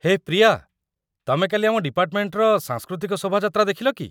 ହେ ପ୍ରିୟା ! ତମେ କାଲି ଆମ ଡିପାର୍ଟମେଣ୍ଟର ସାଂସ୍କୃତିକ ଶୋଭାଯାତ୍ରା ଦେଖିଲ କି?